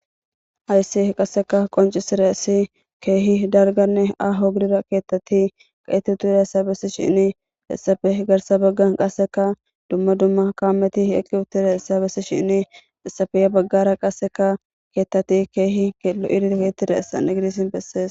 Hays qaseka qoncisidays keeh ahone dalga kethat de'id diyaysa besishn hesappe garsa bagan qaseka dumma dumma kamet eqi utidaysa besishn hesappe he bagara qaseka kethat keeh giget utidaysa beses.